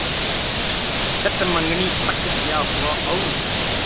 चट मँगनी पट ब्याह हुआ और